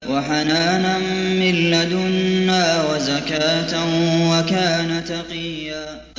وَحَنَانًا مِّن لَّدُنَّا وَزَكَاةً ۖ وَكَانَ تَقِيًّا